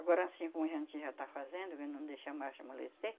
Agora assim, como a gente já tá fazendo, a gente não deixa mais amolecer.